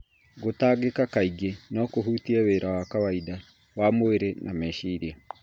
Gũtangĩka kaingĩ no kũhutie wĩra wa kawaida wa mwĩrĩ na meciria.